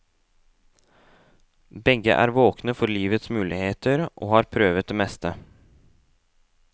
Begge er våkne for livets muligheter, og har prøvet det meste.